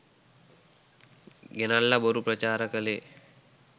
ගෙනල්ල බොරු ප්‍රචාර කලේ